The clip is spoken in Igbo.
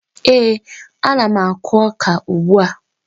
Ee, ana m akụ ọka ugbua